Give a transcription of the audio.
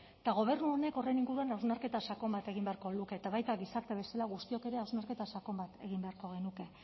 eta gobernu honek horren inguruan hausnarketa sakon bat egin beharko luke eta baita gizarte bezala guztiok ere hausnarketa sakon bat egin beharko genuke